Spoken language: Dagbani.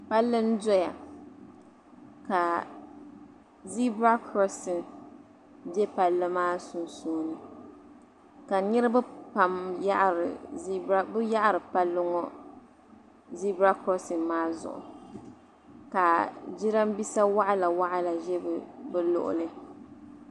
palli n-doya ka zibira krɔɔsi be palli maa sunsuuni ka niriba pam yaɣiri palli ŋɔ zibira krɔɔsi maa zuɣu ka jirambisa waɣila waɣila ʒe bɛ luɣili